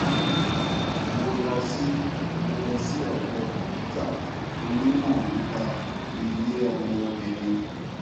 mo lọ sí mo lọ sí ọdọ dókítà onímọ nípa ilé ọmọ obìnrin